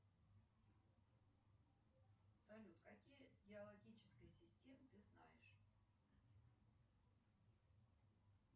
салют какие геологические системы ты знаешь